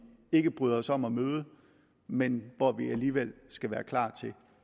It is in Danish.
ikke bryder os om at møde men hvor vi alligevel skal være klar